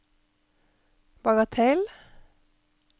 bagatell